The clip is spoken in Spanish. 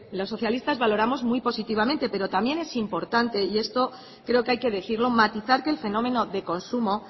los socialistas valoramos muy positivamente pero también es importante y esto creo que hay que decirlo matizar que el fenómeno de consumo